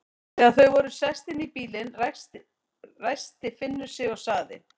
Þegar þau voru sest inn í bílinn, ræskti Finnur sig og sagði